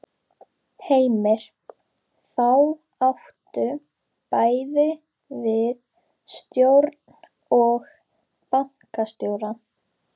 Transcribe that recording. Heimir: Þá áttu bæði við stjórn og bankastjóra?